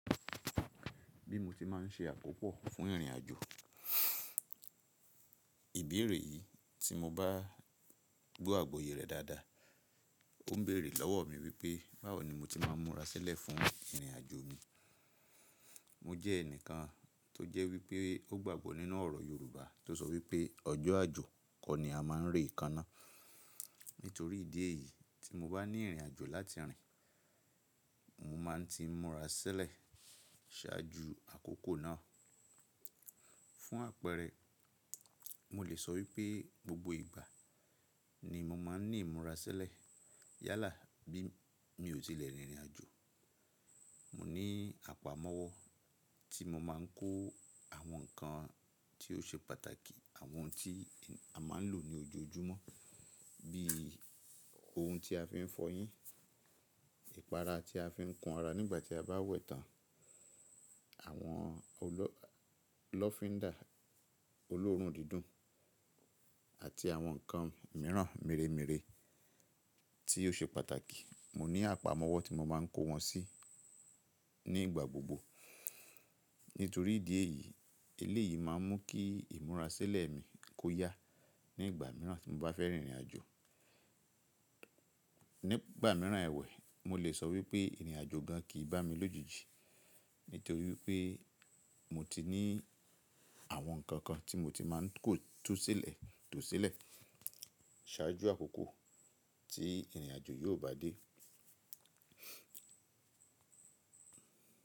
Bí mo tí má n ṣe àkópọ̀ fún ìrìnàjò, ìbéèrè yìí tí mo bá gbọ́ àgbọ́yé rẹ̀ dáadáa, ó ń béèrè lọ́wọ́ mi wípé, báwo ni mo ti má n múra sílẹ̀ fún ìrìnàjò mi? Mo jẹ́ ẹnìkan tó jẹ́ wípé ó gbàgbọ́ nínú ọ̀rọ̀ Yorùbá tó sọ wípé, ọjọ́ àjò kọ ni a má n rí ìkaná. Nítorí ìdí èyí tí mo bá ní ìrìnàjò láti rìn, mo má n ti múra sílẹ̀ ṣáájú àkókò náà. Fún àpẹẹrẹ, mo lè sọ wípé gbogbo ìgbà ni mo má n ní ìmúra sílẹ̀ yálà bí mi ò tí lè rìn ìrìnàjò. Mo ní àpamọ́wọ́ tí mo má n kó àwọn nǹkan tí ó ṣe pàtàkì, àwọn tí a má n lò ní ojoojúmọ́, bí i ohun tí a fi n fọyín, ìpara tí a fi ń kun ara nígbà tí a bá wẹ̀ tán, àwọn lọfindà olóòórùn dídùn àti àwọn nǹkan mìíràn mìírèmíìre tí ó ṣe pàtàkì. Mo ní àpamọ́wọ́ tí mo má n kó wọn sí ní ìgbà gbogbo. Nítorí ìdí èyí, eléyìí má n mú kí ìmúra sílẹ̀ mi kó yá ní ìgbà mìíràn tí mo bá fẹ́ rìn ìrìnàjò. Ní ìgbà mìíràn ẹwẹ̀, mo lè sọ wípé ìrìnàjò gan kì í bá mi lójijì. Nítorí wípé mo ti ní àwọn nǹkan kan tí mo ti má n kó tú sílẹ̀, tò sílẹ̀ ṣáájú àkókò tí ìrìnàjò yóò bá dé.